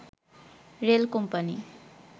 rail company